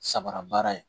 Sabara baara ye